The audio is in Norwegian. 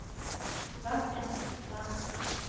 Sebastian Hofstad